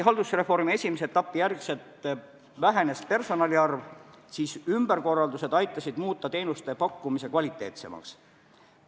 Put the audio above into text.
Haldusreformi esimese etapi järel personali arv küll vähenes, aga ümberkorraldused aitasid teenuste pakkumise kvaliteetsemaks muuta.